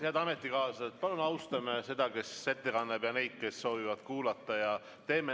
Head ametikaaslased, palun austame ettekandjat ja neid, kes soovivad kuulata.